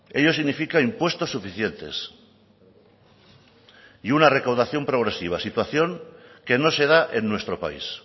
ello significa impuestos suficientes y una recaudación progresiva situación que no se da en nuestro país